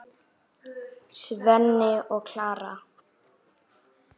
Svenni og Klara!